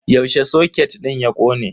Yaushe soket din ya kone?